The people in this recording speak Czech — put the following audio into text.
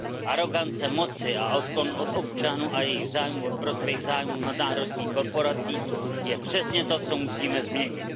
Arogance moci a odklon od občanů a jejich zájmů ve prospěch zájmů nadnárodních korporací je přesně to, co musíme změnit.